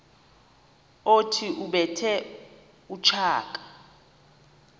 othi ubethe utshaka